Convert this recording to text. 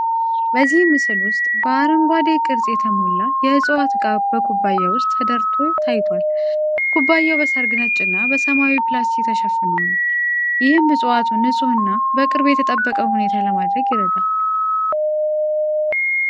በዚህ ምስል ውስጥ በአረንጓዴ ቅርጽ የተሞላ የእፅዋት እቃ በኩባያ ውስጥ ተደርቷ ታይቷል። ኩባያው በሰርግ ነጭ እና በሰማያዊ ፕላስቲክ ተሸፍኖ ነው፣ ይህም እፅዋቱን ንፁህ እና በቅርብ የተጠበቀ ሁኔታ ለማድረግ ይረዳል።